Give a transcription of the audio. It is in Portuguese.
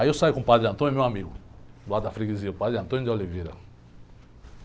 Aí eu saio com o, meu amigo, de lá da, o Padre.